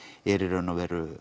er í raun og veru